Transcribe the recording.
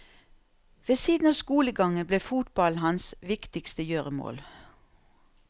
Ved siden av skolegangen ble fotballen hans viktigste gjøremål.